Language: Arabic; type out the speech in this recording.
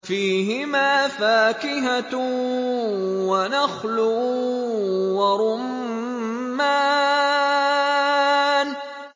فِيهِمَا فَاكِهَةٌ وَنَخْلٌ وَرُمَّانٌ